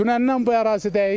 Dünəndən bu ərazidəyik.